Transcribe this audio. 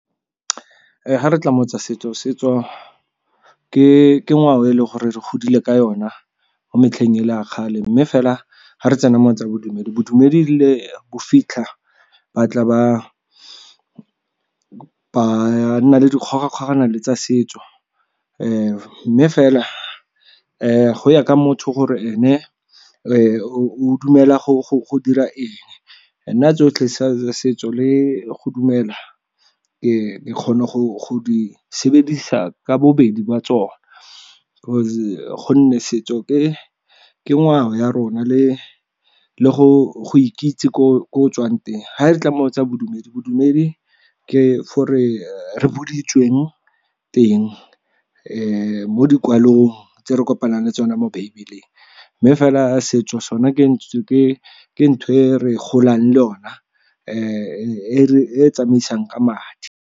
Ga re tla mo tsa setso, setso ke ngwao e leng gore re godile ka yona mo metlheng e le ya kgale. Mme fela ga re tsena mo go tsa bodumedi, bodumedi le bo fitlha ba tla ba nna le dikgogakgogano le tsa setso. Mme fela go ya ka motho gore ene o dumela go dira eng, nna tsotlhe setso le go dumela ke kgona go di sebedisa ka bobedi ba tsone gonne setso ke ngwao ya rona le go ikitse ko o tswang teng. Ga re tla mo tsa bodumedi, bodumedi ke gore re teng mo dikwalong tse re kopanang le tsona mo bible-eng. Mme fela setso sona ke ntho e re golang le yona e tsamaisang ka madi.